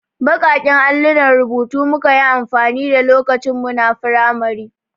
Baƙaƙen allunan rubutu muka yi amfani da lokacin muna firamari.